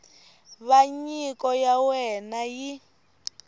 va nyiko ya wena yi